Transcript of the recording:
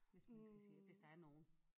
Hvis man skal sige det hvis der er nogen?